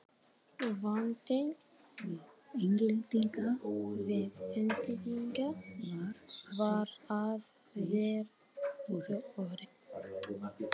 Vandinn við Englendinga var að þeir voru